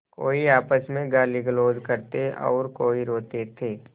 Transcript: कोई आपस में गालीगलौज करते और कोई रोते थे